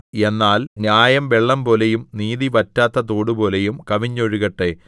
എന്നാൽ ന്യായം വെള്ളംപോലെയും നീതി വറ്റാത്ത തോടുപോലെയും കവിഞ്ഞൊഴുകട്ടെ